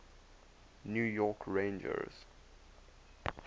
new york rangers